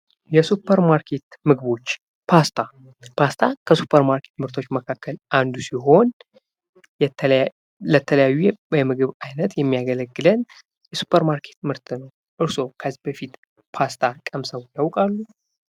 የሱፐር ማርኬት ምግቦች፤ ፓስታ፦ ፓስታ ከሱፐር ማርከት ምርቶች መካከል አንዱ ሲሆን ለተለያዩ የምግብ አይነት የሚያገለግለን የሱፐር ማርኬት ምርት ነው። እርስዎ ከዚህ በፊት ፓስታ ቀምሰው ያውቃሉ?